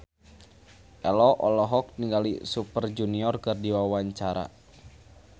Ello olohok ningali Super Junior keur diwawancara